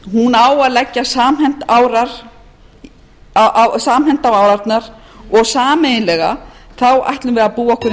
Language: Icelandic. á að leggja samhent á árarnar og sameiginlega ætlum við að búa okkur undir framtíð sem